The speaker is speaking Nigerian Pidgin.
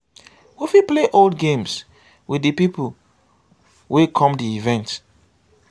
we fit play old games with di people wey come di event